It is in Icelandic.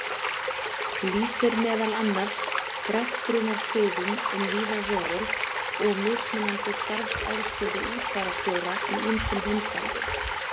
lýsir meðal annars greftrunarsiðum um víða veröld og mismunandi starfsaðstöðu útfararstjóra í ýmsum heimsálfum.